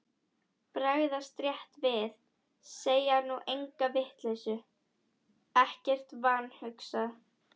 Bregðast rétt við, segja nú enga vitleysu, ekkert vanhugsað.